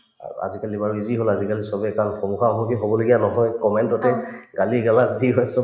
আৰু আজিকালি বাৰু easy হল আজিকালি চবেই কাৰণ সন্মুখা-সন্মুখী হবলগীয়া নহয় comment ততে গালি-গালাচ যি হয় চব